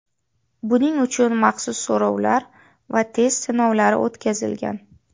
Buning uchun maxsus so‘rovlar va test sinovlari o‘tkazilgan.